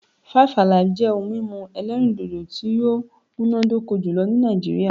5 Alive' jẹ́ ohun mímu elérìndòdò tí ó múnádóko jùlō ní Nàìjíríà